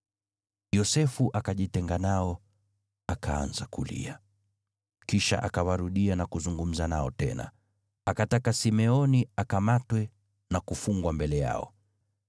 Yosefu akajitenga nao akaanza kulia, kisha akawarudia na kuzungumza nao tena. Akataka Simeoni akamatwe na kufungwa mbele yao.